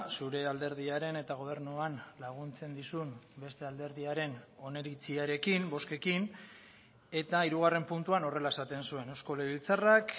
zure alderdiaren eta gobernuan laguntzen dizun beste alderdiaren oniritziarekin bozkekin eta hirugarren puntuan horrela esaten zuen eusko legebiltzarrak